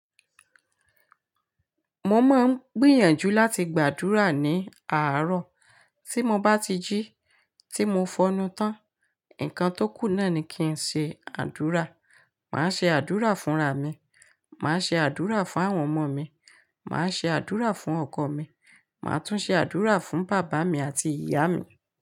Mo máa ń gbìyànjú láti gbàdúrà ní àárọ̀. Tí mo bá ti jí, tí mo fọnú tán, nǹkan tó kù náà ni kí ń ṣe àdúrà. Máa ṣe àdúrà fún ra mi, máa ṣe àdúrà fún àwọn ọmọ mi, máa ṣe àdúrà fún ọkọ mi, máa tún ṣe àdúrà fún bàbá mi àti ìyá mi.